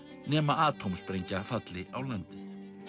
nema atómsprengja falli á landið